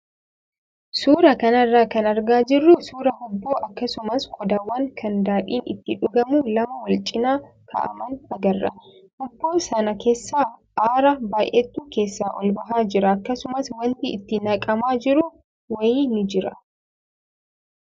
Suuraa kanarraa kan argaa jirru suuraa hubboo akkasumas qodaawwan kan daadhiin itti dhugamu lama wal cinaa kaa'aman agarra. Hubboo sana keessaa aara baay'eetu keessaa ol bahaa jira akkasumas wanti itti naqamaa jiru wayii ni jira.